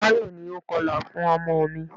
Táyọ̀ ni o kọlà fún ọmọ mi.